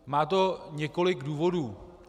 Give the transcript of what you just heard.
Má to několik důvodů.